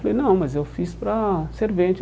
Eu Falei, não, mas eu fiz para servente.